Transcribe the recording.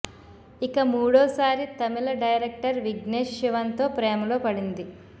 ఇక మూడోసారి తమిళ డైరెక్టర్ విఘ్నేష్ శివన్ తో ప్రేమలో పడింది